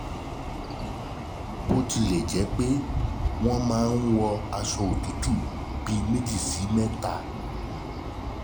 Bó tilẹ̀ jẹ́ pé, wọ́n máa ń wọ aṣọ òtútù bíi méjì sí mẹ́ta